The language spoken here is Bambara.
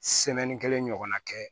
kelen ɲɔgɔn na kɛ